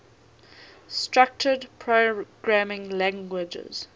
structured programming languages